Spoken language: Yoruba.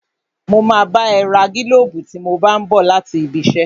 Mo máa bá ẹ ra gílóbù tí mo bá n bọ̀ láti ibi iṣẹ́